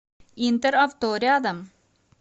интер авто рядом